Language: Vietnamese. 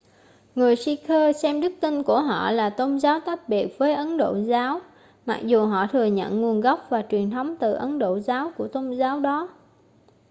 người sikh xem đức tin của họ là tôn giáo tách biệt với ấn độ giáo mặc dù họ thừa nhận nguồn gốc và truyền thống từ ấn độ giáo của tôn giáo đó